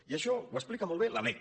i això ho explica molt bé la lec